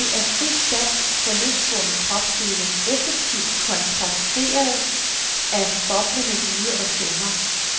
Det er fri dans for løsgående kropsdele, effektivt kontrasteret af boblende lyde og stemmer.